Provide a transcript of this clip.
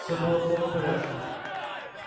все было в полном порядке